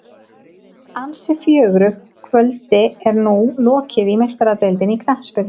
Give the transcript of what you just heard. Ansi fjörugu kvöldi er nú lokið í Meistaradeildinni í knattspyrnu.